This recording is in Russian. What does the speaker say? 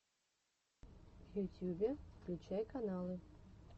в ютьюбе включай каналы